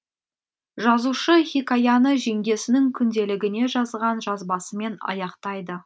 жазушы хикаяны жеңгесінің күнделігіне жазған жазбасымен аяқтайды